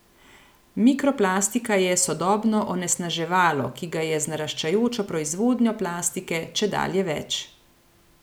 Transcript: Mikroplastika je sodobno onesnaževalo, ki ga je z naraščajočo proizvodnjo plastike čedalje več.